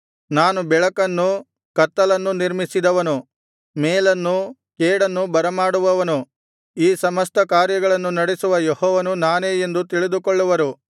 ನಾನು ಬೆಳಕನ್ನು ಕತ್ತಲನ್ನು ನಿರ್ಮಿಸಿದವನು ಮೇಲನ್ನೂ ಕೇಡನ್ನೂ ಬರಮಾಡುವವನು ಈ ಸಮಸ್ತ ಕಾರ್ಯಗಳನ್ನು ನಡೆಸುವ ಯೆಹೋವನು ನಾನೇ ಎಂದು ತಿಳಿದುಕೊಳ್ಳುವರು